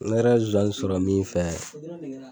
Ne yɛrɛ ye nsonsanni sɔrɔ min fɛ.